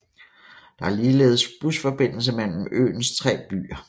Der er ligeldes busforbindelse mellem øens tre byer